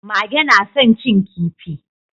Mage na san cin kifi